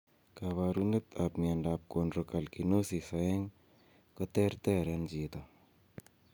Koporunet ap miondap Chondrocalcinosis 2 koter ter en chito.